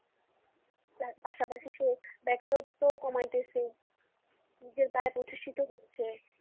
তার পাশাপাশি তো বেকারত্ব কমায়তেছে। নিজের গায়ে প্রতিষ্ঠিত হচ্ছে।